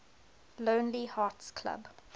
lonely hearts club